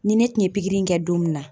Ni ne tun ye pikiri in kɛ don min na